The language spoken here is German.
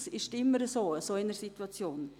Das ist immer so in einer solchen Situation.